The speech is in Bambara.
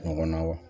Ɲɔgɔnna wa